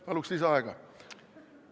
Palun lisaaega!